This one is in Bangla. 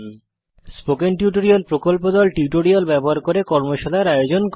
স্পোকেন টিউটোরিয়াল প্রকল্প দল টিউটোরিয়াল ব্যবহার করে কর্মশালার আয়োজন করে